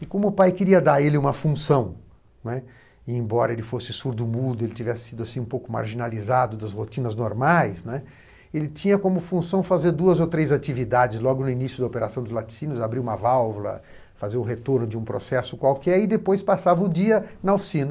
E como o pai queria dar a ele uma função, né, embora ele fosse surdo-mudo, ele tivesse sido assim um pouco marginalizado das rotinas normais, né, ele tinha como função fazer duas ou três atividades, logo no início da operação de laticínios, abrir uma válvula, fazer o retorno de um processo qualquer, e depois passava o dia na oficina